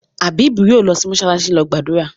Abeeb yóò lọ sí “mọsálásí” lọ gbàdúrà.